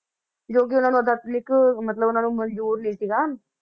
ਜੋ ਕਿ ਉਹਨਾਂ ਨੂੰ ਅਧਿਆਤਮਕ ਮਤਲਬ ਉਹਨਾਂ ਨੂੰ ਮੰਨਜ਼ੂਰ ਨੀ ਸੀਗਾ।